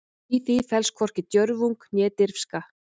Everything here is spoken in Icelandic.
Í því felst hvorki djörfung né dirfska.